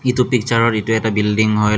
ইটো পিকচাৰত এইটো এটা বিল্ডিং হয়।